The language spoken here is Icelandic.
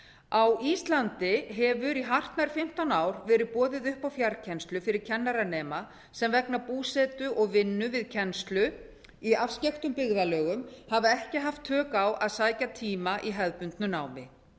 á íslandi hefur í hartnær fimmtán ár verið boðið upp á fjarkennslu fyrir kennaranema sem vegna búsetu og vinnu við kennslu í afskekktum byggðarlögum hafa ekki haft tök á að sækja tíma í hefðbundnu námi